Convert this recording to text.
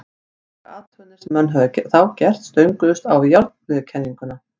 engar athuganir sem menn höfðu þá gert stönguðust á við jarðmiðjukenninguna